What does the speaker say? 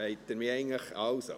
(Wollen Sie mich eigentlich …